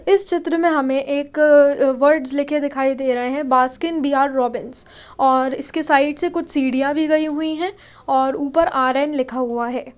इस चित्र में हमें एक अ वर्ड्स लिखे दिखाई दे रहे है बास्किन बिहार रॉबिंस और इसके साइड से कुछ सीढ़ियां भी गई हुई है और ऊपर आर_एन लिखा हुआ है।